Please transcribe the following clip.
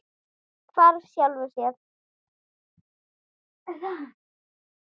Hvarf sjálfum sér.